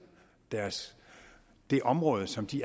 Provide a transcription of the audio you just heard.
det område som de